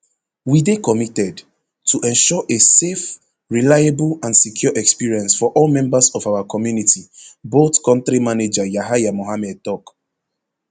we dey committed to ensure a safe reliable and secure experience for all members of our community bolt kontri manager yahaya mohammed tok